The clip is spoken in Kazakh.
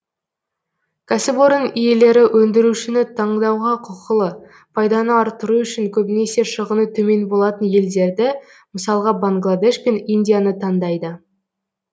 кәсіпорын иелері өндірушіні таңдауға құқылы пайданы арттыру үшін көбінесе шығыны төмен болатын елдерді мысалға бангладеш пен индияны таңдайды